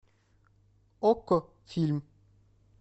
окко фильм